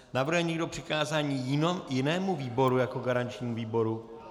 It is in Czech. Navrhuje někdo přikázání jinému výboru jako garančnímu výboru?